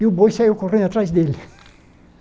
E o boi saiu correndo atrás dele.